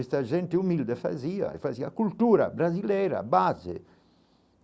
Esta gente humilde fazia, fazia cultura, brasileira, base.